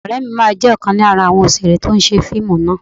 Ọ̀rẹ́ mi máa jẹ́ ọ̀kan lára àwọn òṣèré tí ó ṣe fíìmù náà